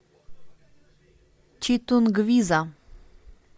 читунгвиза